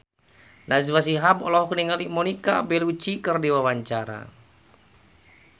Najwa Shihab olohok ningali Monica Belluci keur diwawancara